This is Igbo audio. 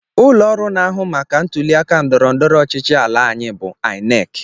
Ụlọọrụ na-ahụ maka ntụliaka ndọrọndọrọ ọchịchị ala anyị bụ INEC